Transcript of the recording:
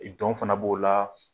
Dɔn fana b'o la